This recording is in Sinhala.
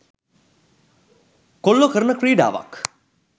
කොල්ලෝ කරන ක්‍රීඩාවක්.